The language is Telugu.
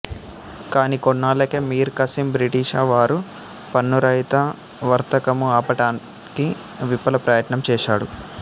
కానీ కొన్నాళ్ళకే మీర్ ఖాసిం బ్రిటిషవారు పన్నురహిత వర్తకము ఆపటానికి విఫల ప్రయత్నంచేశాడు